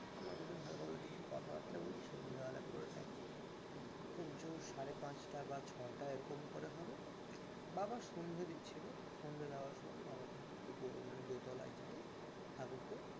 আমরা দুজন হালকা ফুলটা কিছু কথাবার্তা বলছি সন্ধ্যাবেলার পুরো time খুব জোর সাড়ে পাঁচটা বা ছটা এরকম করে হবে বাবা সন্ধ্যে দিচ্ছিল সন্ধ্যে দেওয়ার সময় বাবা কিন্তু উপরে মানে দোতলায় যায় ঠাকুরকে